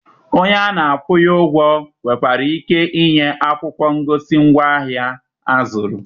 Onye a na-akwụnye ụgwọ nwekwara ike ịnye akwụkwọ ngosi ngwaahịa a zụrụ.